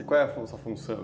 E qual função?